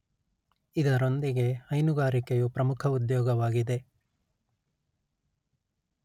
ಇದರೊಂದಿಗೆ ಹೈನುಗಾರಿಕೆಯು ಪ್ರಮುಖ ಉದ್ಯೋಗವಾಗಿದೆ